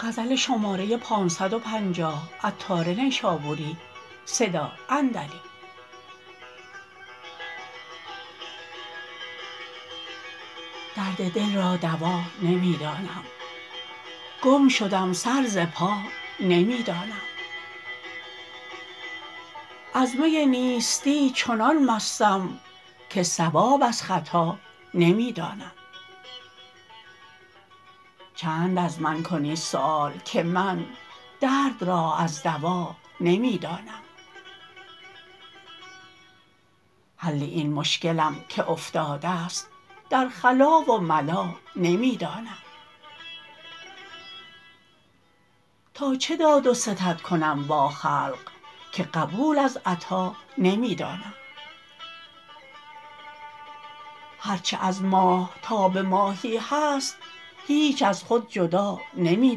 درد دل را دوا نمی دانم گم شدم سر ز پا نمی دانم از می نیستی چنان مستم که صواب از خطا نمی دانم چند از من کنی سؤال که من درد را از دوا نمی دانم حل این مشکلم که افتادست در خلا و ملا نمی دانم به چه داد و ستد کنم با خلق که قبول از عطا نمی دانم هرچه از ماه تا به ماهی هست هیچ از خود جدا نمی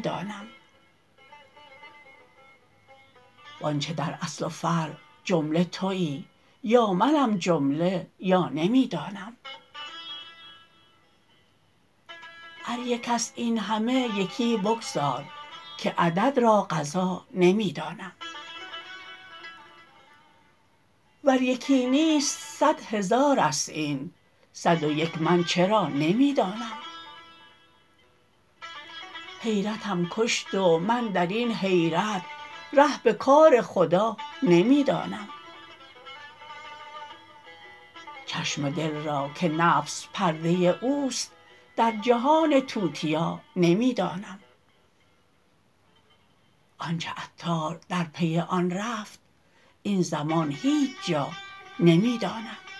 دانم وانچه در اصل و فرع جمله تویی یا منم جمله یا نمی دانم گر یک است این همه یکی بگذار که عدد را قفا نمی دانم ور یکی نی و صد هزار است این صد و یک من چرا نمی دانم حیرتم کشت و من درین حیرت ره به کار خدا نمی دانم چشم دل را که نفس پرده اوست در جهان توتیا نمی دانم آنچه عطار در پی آن رفت این زمان هیچ جا نمی دانم